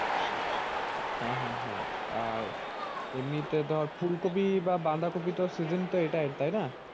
হ্যাঁ হ্যাঁ হ্যাঁ আর এমনিতে ধর ফুলকপি বা বাঁধাকপির তো season তো এটা তাইনা?